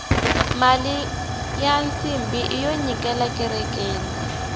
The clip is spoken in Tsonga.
mali ya nsimbhi iyo nyikela ekerekeni